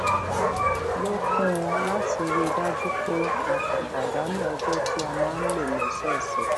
lò kún un láti rí i dájú pé a kò pàdánù ọjọ tí a máa ń lò lọsọọsẹ